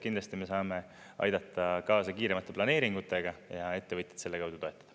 Kindlasti me saame aidata kaasa kiiremate planeeringutega ja ettevõtjaid selle kaudu toetada.